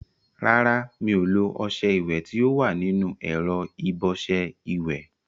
Rárá, mi ò lo ọṣẹ ìwẹ̀ tí ó wà nínú ẹ̀rọ ìbọṣẹ ìwẹ̀.